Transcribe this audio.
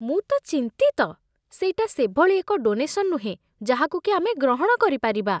ମୁଁ ତ ଚିନ୍ତିତ! ସେଇଟା ସେଭଳି ଏକ ଡୋନେସନ୍ ନୁହେଁ ଯାହାକୁ କି ଆମେ ଗ୍ରହଣ କରିପାରିବା।